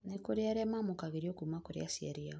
nĩ kũrĩ arĩa mamũkagĩrio kuma kũrĩ aciari ao